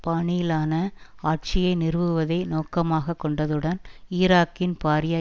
பாணியிலான ஆட்சியை நிறுவுவதை நோக்கமாக கொண்டதுடன் ஈராக்கின் பாரிய